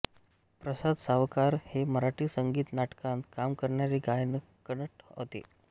प्रसाद सावकार हे मराठी संगीत नाटकांत काम करणारे गायकनट होते